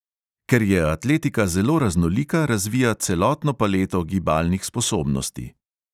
Ker je atletika zelo raznolika, razvija celotno paleto gibalnih sposobnosti.